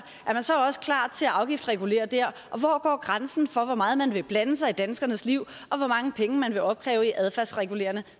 så også klar til at afgiftsregulere der og hvor går grænsen for hvor meget man vil blande sig i danskernes liv og hvor mange penge man vil opkræve i adfærdsregulerende